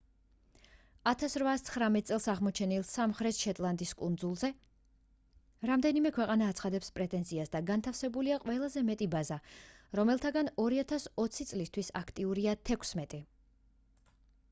1819 წელს აღმოჩენილ სამხრეთ-შეტლანდის კუნძულებზე რამდენიმე ქვეყანა აცხადებს პრეტენზიას და განთავსებულია ყველაზე მეტი ბაზა რომელთაგან 2020 წლისთვის აქტიურია თექვსმეტი